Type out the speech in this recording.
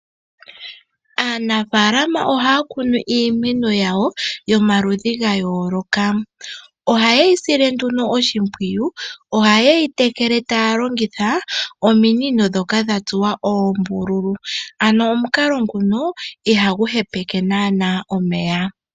Aanafaalama ohaya kunu iimeno yawo yomaludhi yayooloka. Ohaye yi sile nduno oshimpwiyu, ohaye yi tekele tay longitha ominino ndhoka dha tsuwa oombululu ano omukalo nguno ohagu hepeke naanaa omeya.